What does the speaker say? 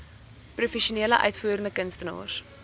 professionele uitvoerende kunstenaars